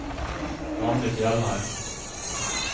Randi Fjellheim